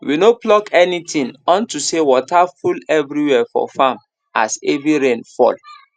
we no pluck anything unto say water full every where for farm as heavy rain fall